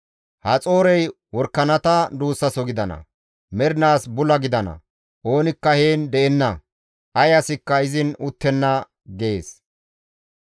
«Haxoorey worakanata duussaso gidana; mernaas bula gidana; oonikka heen de7enna; ay asikka izin uttenna» gees.